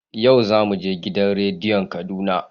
Yau za mu je gidan radiyon Kaduna.